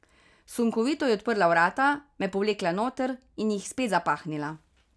Sunkovito je odprla vrata, me povlekla noter in jih spet zapahnila.